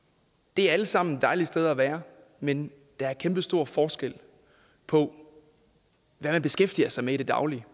det er alle sammen dejlige steder at være men der er kæmpestor forskel på hvad man beskæftiger sig med i det daglige